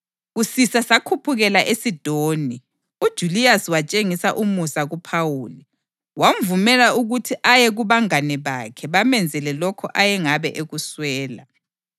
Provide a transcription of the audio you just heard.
Kusisa sakhuphukela eSidoni; uJuliyasi watshengisa umusa kuPhawuli, wamvumela ukuthi aye kubangane bakhe bamenzele lokho ayengabe ekuswela.